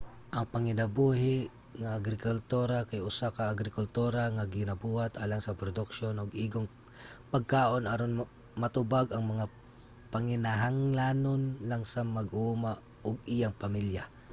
ang panginabuhi nga agrikultura kay usa ka agrikultura nga ginabuhat alang sa produksiyon og igong pagkaon aron matubag ang mga panginahanglanon lang sa mag-uuma ug iyang pamilya